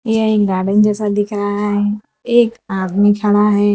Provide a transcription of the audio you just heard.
यह एक गार्डन जैसा दिख रहा है एक आदमी खड़ा है।